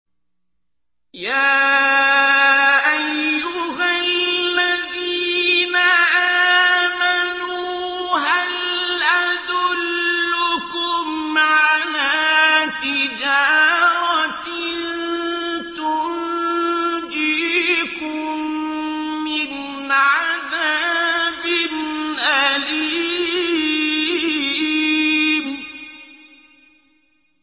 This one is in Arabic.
يَا أَيُّهَا الَّذِينَ آمَنُوا هَلْ أَدُلُّكُمْ عَلَىٰ تِجَارَةٍ تُنجِيكُم مِّنْ عَذَابٍ أَلِيمٍ